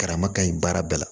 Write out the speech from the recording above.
Karama ka ɲi baara bɛɛ la